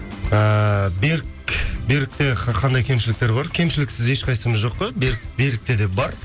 ыыы берік берікте қандай кемшіліктер бар кемшіліксіз ешқайсымыз жоқ қой берік берікте де бар